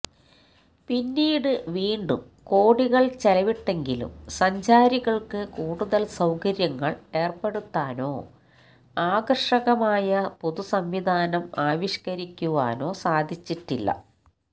പിന്നീട് വീണ്ടും കോടികള് ചെലവിട്ടെങ്കിലും സഞ്ചാരികള്ക്ക് കൂടുതല് സൌകര്യങ്ങള് ഏര്പ്പെടുത്താനോ ആകര്ഷകമായ പുതുസംവിധാനം ആവിഷ്ക്കരിക്കുവാനോ സാധിച്ചിട്ടില്ല